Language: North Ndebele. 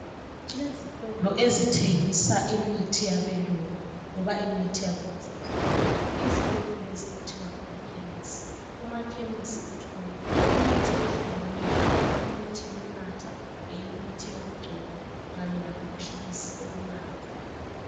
Kulezitolo ezithengisa imithi yabe lungu loba imithi yakulezi insuku, izitolo lezi kuthiwa ngama khemisi. Kumakhemisi uthola imithi ehlukeneyo, imithi yokunatha imithi yokugcoba kanye lamaphilisi okunatha.